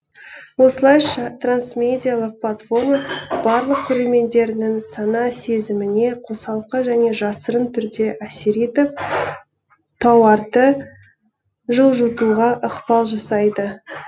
осылайша трансмедиалық платформа барлық көрермендерінің сана сезіміне қосалқы және жасырын түрде әсер етіп тауарды жылжытуға ықпал жасайды